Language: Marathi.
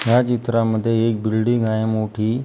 या चित्रामध्ये एक बिल्डिंग आहे मोठी.